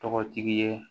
Tɔgɔtigi ye